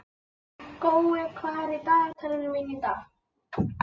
Gói, hvað er í dagatalinu mínu í dag?